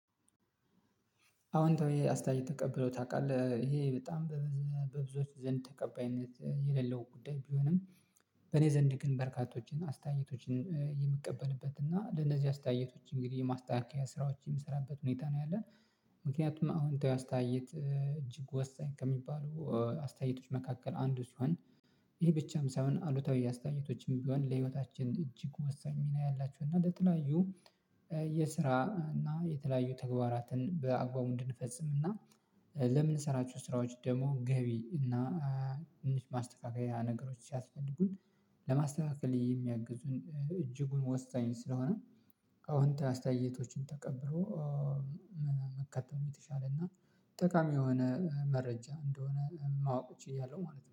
አሁን ተውዬ አስታይ ተቀብሎ ታውቃለህ ይሄ በጣም በብዙዎች ዘንድ ተቀባይነት የሌለው ጉዳይ ቢሆንም በኔ ዘንድ ግን በርካቶችን አስተያየቶችን የምቀበልበት እና ለነዚህ አስተያየቶች እንግዲህ የማስተካከያ ስራዎች የምሰራበት ሁኔታ ነው ያለው። ምክንያቱም አዎንታዊ አስተያየት እጅግ ወሳኝ ከሚባሉ አስተያየቶች መካከል አንዱ ሲሆን። ይህ ብቻም ሳይሆን አሉታዊ አስተያየቶችም ቢሆን ለህይወታችን እጅግ ወሳኝ ሚና ያላችሁ እና ለተለያዩ የስራ እና የተለያዩ ተግባራትን በአግባቡ እንድንፈጽም እና ለምንሰራችሁ ስራዎች ደግሞ ገቢ እና ትንሽ ማስተካከያ ነገሮችን ሲያስፈልጉን ለማስተካከል የሚያግዙን እጅጉን ወሳኝ ስለሆነ። አዎንታዊ አስተያየቶችን ተቀብሎ መከተል የተሻለ እና ጠቃሚ የሆነ መረጃ እንደሆነ ማወቅ እችላለሁ ማለት ነው